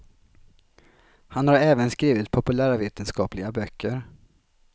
Han har även skrivit populärvetenskapliga böcker.